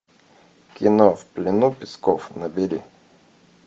кино в плену песков набери